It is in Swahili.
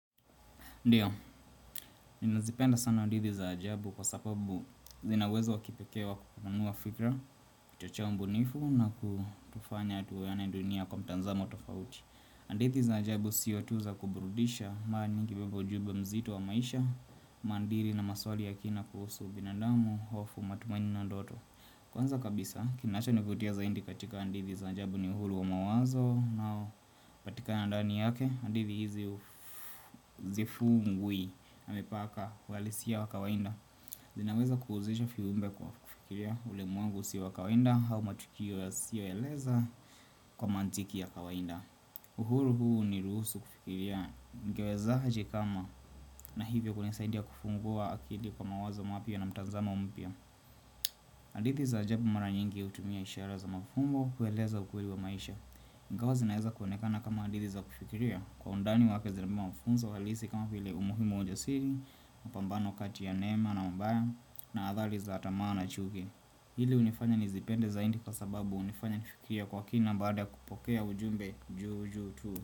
Ndiyo, ninazipenda sana hadithi za ajabu kwa sababu zina uwezo wa kipekee wa kupanua fikira, kuchochea ubunifu na kutufanya tuione dunia kwa mtazamo tofauti. Hadithi za ajabu sio tu za kuburudisha, mara likibeba ujumbe mzito wa maisha, maandili na maswali ya kina kuhusu binadamu, hofu, matumaini na ndoto. Kwanza kabisa kinachonivutia zaidi katika hadithi za ajabu ni uhuru wa mawazo na patikana ndani yake hadithi hizi zifungwi na mipaka uhalisia wa kawaida zinaweza kuhusisha viumbe kwa kufikiria ulimwengu si wa kawaida au matukio yasiyo eleza kwa mantiki ya kawaida uhuru huu huniruhusu kufikiria ningewezaje kama na hivyo kunasaidia kufungua akili kwa mawazo mapya na mtazamo mpya hadithi za ajabu mara nyingi hutumia ishara za mafumbo kueleza ukweli wa maisha ingawa zi naeza kuonekana kama hadithi za kufikiria Kwa undani wake zimebeba mafunzo halisi kama vile umuhimu wa ujasiri mapambano kati ya neema na mabaya na adhari za tamaa na chuki Hili hunifanya nizipende zaidi kwa sababu hunifanya nifikirie kwa kina Baada ya kupokea ujumbe juu juu tu.